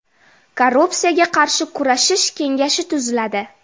Korrupsiyaga qarshi kurashish kengashi tuziladi.